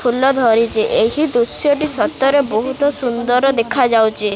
ଫୁଲ ଧରିଚି ଏହି ଦୃଶ୍ୟ ଟି ସତରେ ବହୁତ ସୁନ୍ଦର ଦେଖାଯାଉଚି।